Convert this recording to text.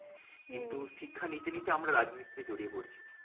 কিন্তু শিক্ষা নিতে নিতে আমরা রাজনীতিতে জড়িয়ে পড়ছি।